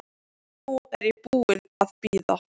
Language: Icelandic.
Nú er ég búin að bíða.